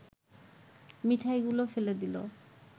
মিঠাইগুলো ফেলে দিল